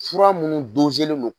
Fura minnu doselen don.